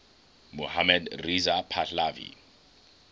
mohammad reza pahlavi